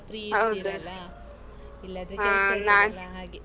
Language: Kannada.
Free ಇರ್ತಿರಲ್ಲಾ. ಇಲ್ಲಾದ್ರೆ ಕೆಲ್ಸ ಇರ್ತದಲ್ಲಾ ಹಾಗೆ.